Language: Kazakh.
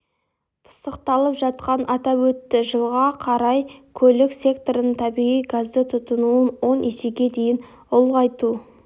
пысықталып жатқанын атап өтті жылға қарай көлік секторының табиғи газды тұтынуын он есеге дейін ұлғайту